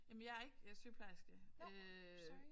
Jamen jeg er ikke sygeplejerske øh